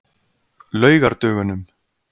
laugardögunum